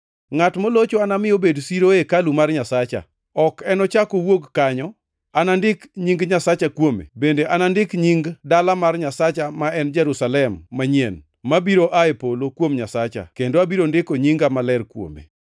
Ngʼat molocho anami obed siro e hekalu mar Nyasacha. Ok enochak owuog kanyo. Anandik nying Nyasacha kuome bende anandik nying dala mar Nyasacha ma en Jerusalem manyien, mabiro aa e polo kuom Nyasacha kendo abiro ndiko nyinga maler kuome.